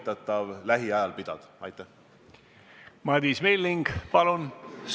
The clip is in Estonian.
Prantsusmaa on 9. märtsil keelanud rohkem kui 1000 inimese kogunemise, aga me peame arvestama, et Prantsusmaa elanike arv on üle 65 miljoni.